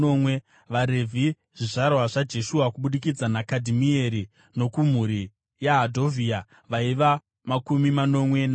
VaRevhi: zvizvarwa zvaJeshua (kubudikidza naKadhimieri nokumhuri yaHodhavhia), vaiva makumi manomwe navana.